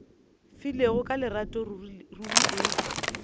filego ka lerato ruri e